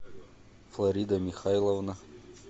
флорида михайловна